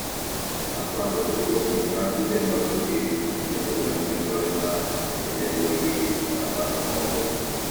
Ha kwadoro oge ha ndị mmadụ ga-eji enwe mmekọrịta nke na - eweghi ntaramahụhụ ọbụla